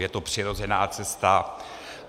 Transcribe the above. Je to přirozená cesta.